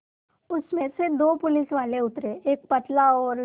उसमें से दो पुलिसवाले उतरे एक पतला और